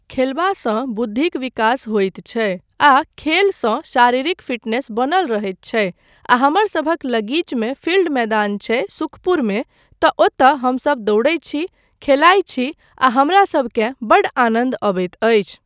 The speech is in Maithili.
खेलबासँ बुद्धिक विकास होइत छै आ खेलसंँ शारीरिक फिटनेस बनल रहैत छै आ हमरसभक लगीचमे फिल्ड मैदान छै सुखपुरमे तँ ओतय हमसब दौड़ैत छी, खेलाइत छी आ हमरासबकेँ बड्ड आनन्द अबैत अछि।